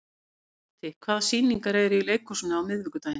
Tóti, hvaða sýningar eru í leikhúsinu á miðvikudaginn?